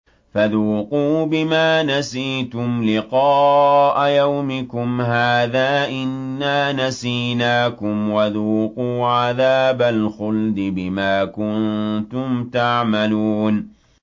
فَذُوقُوا بِمَا نَسِيتُمْ لِقَاءَ يَوْمِكُمْ هَٰذَا إِنَّا نَسِينَاكُمْ ۖ وَذُوقُوا عَذَابَ الْخُلْدِ بِمَا كُنتُمْ تَعْمَلُونَ